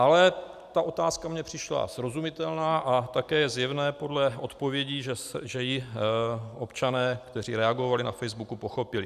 Ale ta otázka mně přišla srozumitelná a také je zjevné podle odpovědí, že ji občané, kteří reagovali na Facebooku, pochopili.